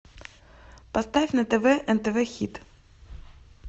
поставь на тв нтв хит